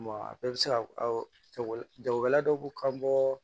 a bɛɛ bɛ se ka jago jagokɛla dɔ b'u ka bɔ